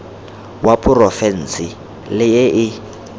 wa porofense le e e